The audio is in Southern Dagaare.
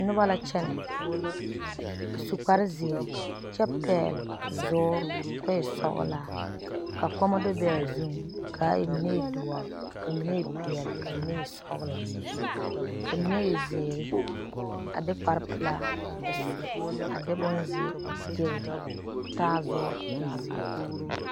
Noba la kyɛne a su kpare zeɛre. kyɛ pɛgeli zuuri kɔ e sɔglaa ka kɔŋma do be a zuŋ kaa mine e doɔre , ka mine e pɛɛle ka mine e sɔglɔ ka mine e zeɛre a de kpare pelaa a su a de bonzeɛ a gegere kɔɔ taa zuuri kɔɔ e zeɛ.